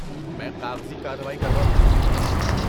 میں کاغذی کارروائی کروا دوں گا۔